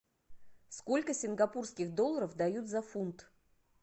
сколько сингапурских долларов дают за фунт